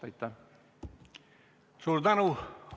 Suur tänu!